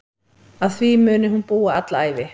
Að því muni hún búa alla ævi.